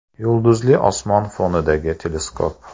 Yulduzli osmon fonidagi teleskop.